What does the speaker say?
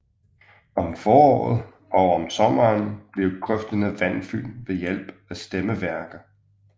Om foråret og om sommeren bliver grøfterne vandfyldte ved hjælp af stemmeværker